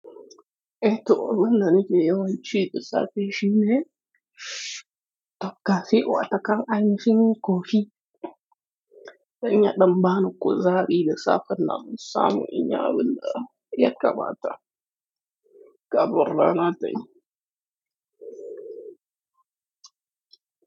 Ei, toh, abin da nake yawan ci da safe shine takalfi, watakil an fi yin coffee. Za ya ɗan ba ni kuzari da safe, nan sama in ya bude, ya kamata kamin rana ta yi.